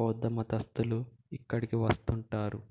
బౌద్ధమతస్థులు ఇక్కడకు వద్తుంటారు